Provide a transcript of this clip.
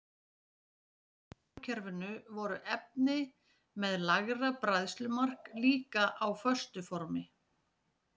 Utar í sólkerfinu voru efni með lægra bræðslumark líka á föstu formi.